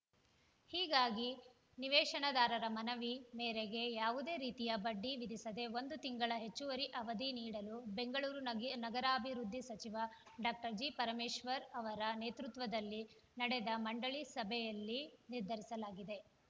ಹೀಗಾಗಿ ನಿವೇಶನದಾರರ ಮನವಿ ಮೇರೆಗೆ ಯಾವುದೇ ರೀತಿಯ ಬಡ್ಡಿ ವಿಧಿಸದೆ ಒಂದು ತಿಂಗಳ ಹೆಚ್ಚುವರಿ ಅವಧಿ ನೀಡಲು ಬೆಂಗಳೂರು ನಗೆ ನಗರಾಭಿವೃದ್ಧಿ ಸಚಿವ ಡಾಕ್ಟರ್ ಜಿಪರಮೇಶ್ವರ್‌ ಅವರ ನೇತೃತ್ವದಲ್ಲಿ ನಡೆದ ಮಂಡಳಿ ಸಭೆಯಲ್ಲಿ ನಿರ್ಧರಿಸಲಾಗಿದೆ